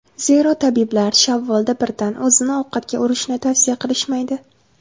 Zero, tabiblar shavvolda birdan o‘zini ovqatga urishni tavsiya qilishmaydi.